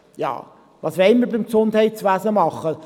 Ja, was wollen wir im Gesundheitswesen machen?